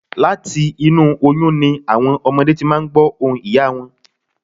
Láti inú oyún ni àwọn ọmọdé ti máa n gbọ̀ ohùn ìyá wọn